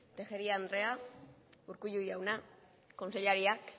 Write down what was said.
tejeria andrea urkullu jauna kontseilariak